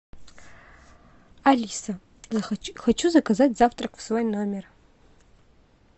алиса хочу заказать завтрак в свой номер